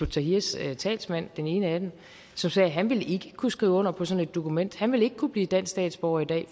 tahrirs talsmand den ene af dem som sagde at han ikke ville kunne skrive under på sådan et dokument han ville ikke kunne blive dansk statsborger i dag